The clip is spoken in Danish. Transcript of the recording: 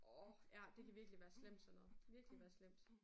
Orh ja det kan virkelig være slemt sådan noget. Virkelig være slemt